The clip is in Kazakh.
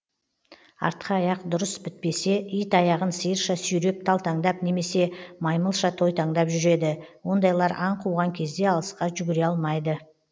артқы аяқ дұрыс бітпесе ит аяғын сиырша сүйреп талтаңдап немесе маймылша тойтаңдап жүреді ондайлар аң қуған кезде алысқа жүгіре алмайды